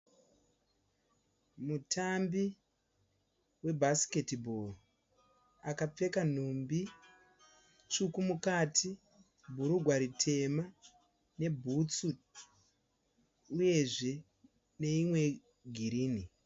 Mutambi we bhasiketi bhoro ,akapfeka nhumbi svuku mukati, bhurugwa ritema, nebhutsu uyezve neimwe ye girirni.